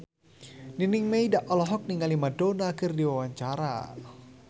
Nining Meida olohok ningali Madonna keur diwawancara